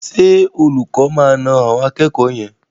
Ṣé olùkọ́ máa na àwọn akẹ́kọ̀ọ́ yẹn?